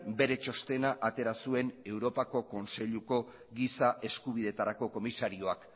bere txostena atera zuen europako kontseiluko giza eskubidetarako komisarioak